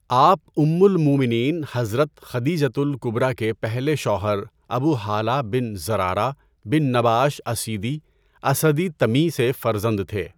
آپ ام المومنین حضرت خدیجۃ الکبرٰی کے پہلے شوہر ابو ہالہ بن زرارہ بن نباش اسیدی، اسدی تمیی سے فرزند تھے۔